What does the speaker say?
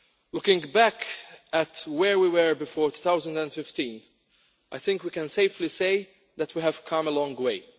Looking back at where we were before 2015, I think we can safely say that we have come a long way.